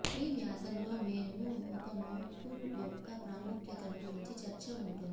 ఈ వ్యాసం లో మేము ఒక మౌత్ఫుల్ యొక్క ప్రాముఖ్యతను గురించి చర్చ ఉంటుంది